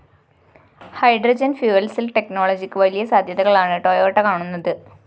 hydrogen fuel cell ടെക്നോളജിക്ക് വലിയ സാധ്യതകളാണ് ടൊയോട്ട കാണുന്നത്